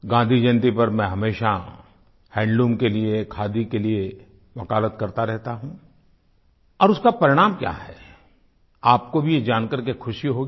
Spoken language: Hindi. गाँधी जयन्ती पर मैं हमेशा हैंडलूम के लिए खादी के लिए वकालत करता रहता हूँ और उसका परिणाम क्या है आपको भी यह जानकर के खुशी होगी